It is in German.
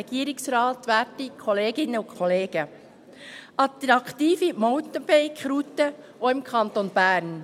«Attraktive Mountainbike-Routen auch im Kanton Bern»: